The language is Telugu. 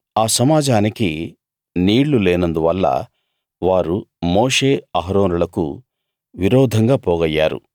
ఆ సమాజానికి నీళ్లు లేనందువల్ల వారు మోషే అహరోనులకు విరోధంగా పోగయ్యారు